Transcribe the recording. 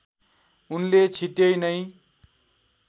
उनले छिट्यै नै